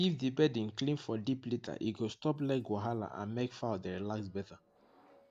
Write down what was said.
if di bedding clean for deep litter e go stop leg wahala and make fowl dey relax better